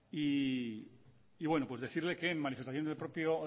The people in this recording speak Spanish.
y bueno pues decirle que en manifestación del propio